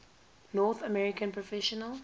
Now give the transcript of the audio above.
north american professional